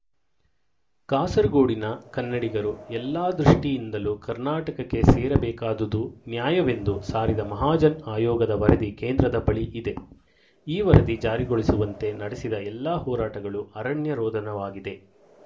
ಕಾಸರಗೋಡಿನ ಕನ್ನಡಿಗರು ಎಲ್ಲಾ ದೃಷ್ಟಿಯಿಂದಲೂ ಕರ್ನಾಟಕಕ್ಕೆ ಸೇರಬೆಕಾದುದು ನ್ಯಾಯವೆಂದು ಸಾರಿದ ಮಹಾಜನ್ ಆಯೋಗದ ವರದಿ ಕೇಂದ್ರದ ಬಳಿ ಇದೆ ಈ ವರದಿ ಜಾರಿಗೊಳಿಸುವಂತೆ ನಡೆಸಿದ ಎಲ್ಲ ಹೋರಾಟಗಳು ಅರಣ್ಯರೋದನವಾಗಿದೆ